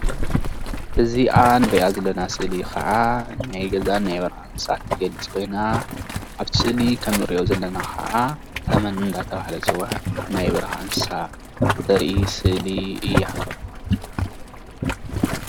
እዚአ ንሪአ ዘለና ስእሊ ከዓ ናይ ገዛን ናይ በረካን እንስሳት ትገልፅ ኮይና እብቲ ስእሊ ከምእንሪኦ ዘለና ከዓ ተመን እናተባሃለ ዝፅዋዕ ናይ በረካ እንስሳ ተርኢ ስእሊ እያ።